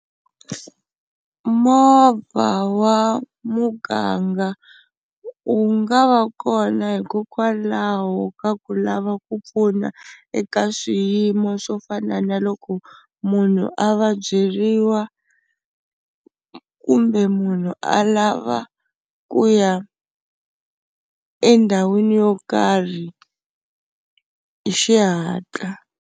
Movha wa muganga wu nga va kona hikokwalaho ka ku lava ku pfuna eka swiyimo swo fana na loko munhu a vabyeriwa kumbe munhu a lava ku ya endhawini yo karhi hi xihatla.